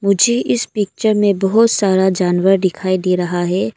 मुझे इस पिक्चर में बहुत सारा जानवर दिखाई दे रहा है।